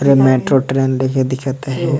और metro train दिखे दिखत है।